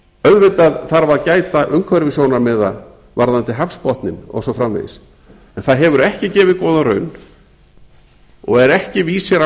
auðvitað þarf að gæta umhverfissjónarmiða varðandi hafsbotninn og svo framvegis en það hefur ekki gefið góða raun og er ekki vísir á